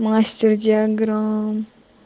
мастер диаграмм